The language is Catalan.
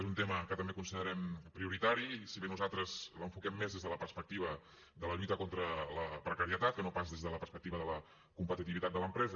és un tema que també considerem prioritari si bé nosaltres l’enfoquem més des de la perspectiva de la lluita contra la precarietat que no pas des de la perspectiva de la competitivitat de l’empresa